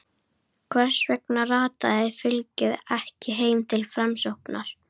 Hvers vegna rataði fylgið ekki heim til Framsóknar?